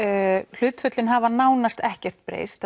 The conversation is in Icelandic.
hlutföllin hafa nánast ekkert breyst